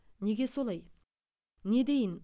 неге солай не дейін